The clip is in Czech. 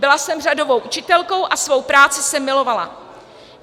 Byla jsem řadovou učitelkou a svou práci jsem milovala.